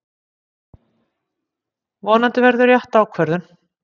Vonandi verður rétt ákvörðun